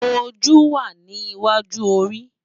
Ójú wá ni iwájú óri